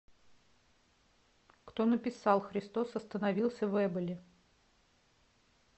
кто написал христос остановился в эболи